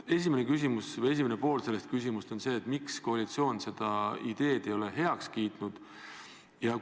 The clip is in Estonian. Minu küsimuse esimene pool on see: miks koalitsioon ei ole seda ideed heaks kiitnud?